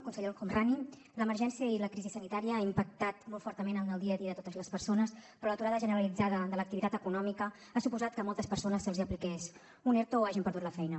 conseller el homrani l’emergència i la crisi sanitària ha impactat molt fortament en el dia a dia de totes les persones però l’aturada generalitzada de l’activitat econòmica ha suposat que a moltes persones se’ls apliqués un erto o hagin perdut la feina